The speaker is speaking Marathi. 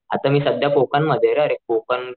आता मी सध्या कोकण मध्ये अरे कोकण,